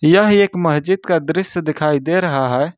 यह एक मस्जिद का दृश्य दिखाई दे रहा है।